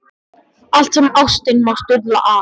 Allt sem ástin má stuðla að.